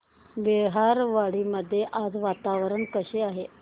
बहिरवाडी मध्ये आज वातावरण कसे आहे